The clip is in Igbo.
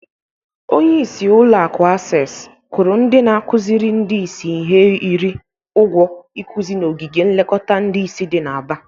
Onyeisi ụlọakụ Asesi kwụrụ ndị na-akụzịrị ndị isi ihe iri ụgwọ ikụzị n'ogige nlekọta ndị isi dị na Aba.